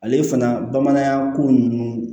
Ale fana bamanankan ko ninnu